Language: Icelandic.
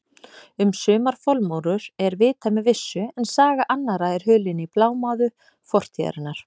Um sumar formúlur er vitað með vissu en saga annarra er hulin í blámóðu fortíðarinnar.